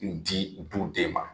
N di b'u den ma